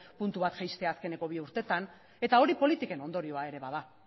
puntu bat jaistea azkeneko bi urtetan eta hori politiken ondorioa ere bada